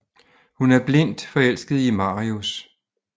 Hun er blindt forelsket i Marius